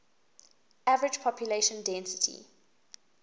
average population density